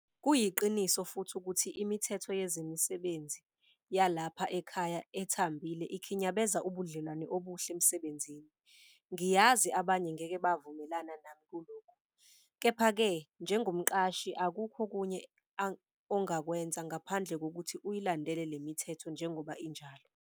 Kuyiqiniso futhi ukuthi imithetho yezemisebenzi yalapha ekhaya ethambile ikhinyabeza ubudlelwano obuhle emsebenzini - ngiyazi abanye ngeke bavumelana nami kulokhu. Kepha-ke njengomqashi akukho okunye ongakwenza ngaphandle kokuthi uyilandele le mithetho njengoba injalo.